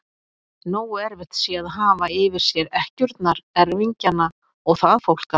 Nógu erfitt sé að hafa yfir sér ekkjurnar, erfingjana og það fólk allt!